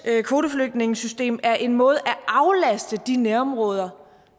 kvoteflygtningesystem er en måde at aflaste de nærområder